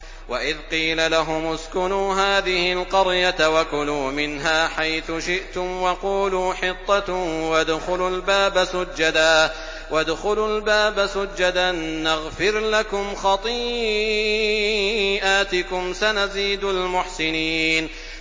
وَإِذْ قِيلَ لَهُمُ اسْكُنُوا هَٰذِهِ الْقَرْيَةَ وَكُلُوا مِنْهَا حَيْثُ شِئْتُمْ وَقُولُوا حِطَّةٌ وَادْخُلُوا الْبَابَ سُجَّدًا نَّغْفِرْ لَكُمْ خَطِيئَاتِكُمْ ۚ سَنَزِيدُ الْمُحْسِنِينَ